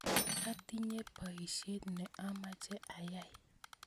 Atinye poisyet ne amache ayai